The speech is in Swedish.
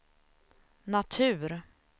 natur